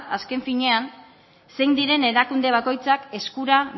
azken finean zein diren erakunde bakoitzak eskura